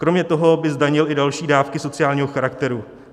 Kromě toho by zdanil i další dávky sociálního charakteru.